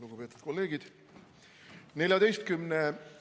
Lugupeetud kolleegid!